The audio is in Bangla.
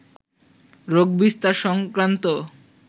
রোগবিস্তার সংক্রান্ত